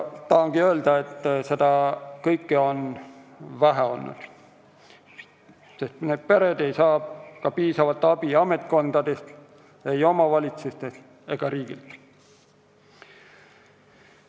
Tahangi öelda, et seda kõike on olnud vähe, sest puudega lapse pered ei saa piisavat abi ka ametkondadest, ei omavalitsustest ega riigilt.